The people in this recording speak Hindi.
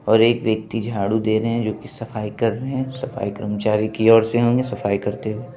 और एक व्यक्ति झाड़ू दे रहे हैं जो कि सफाई कर रहे हैं| सफाई कर्मचारी की और से होंगे सफाई करते हुए।